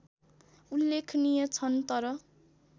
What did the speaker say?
उल्लेखनीय छन् तर